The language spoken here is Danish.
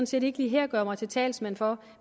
set ikke lige her gøre mig til talsmand for